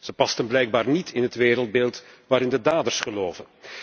Ze pasten blijkbaar niet in het wereldbeeld waarin de daders geloven.